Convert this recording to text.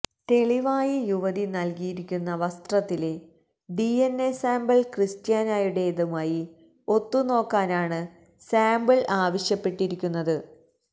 തെളിവായി യുവതി നല്കിയിരിക്കുന്ന വസ്ത്രത്തിലെ ഡിഎന്എ സാമ്പിള് ക്രിസ്ററ്യാനോയുടേതുമായി ഒത്തു നോക്കാനാണ് സാമ്പിള് ആവശ്യപ്പെട്ടിരിക്കുന്നത്